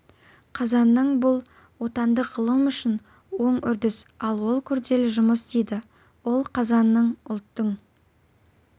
қазанның бұл отандық ғылым үшін оң үрдіс ал ол күрделі жұмысдейді ол қазанның ұлттың